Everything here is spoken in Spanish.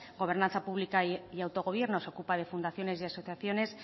gobernanza pública y autogobierno se ocupa de fundaciones y asociaciones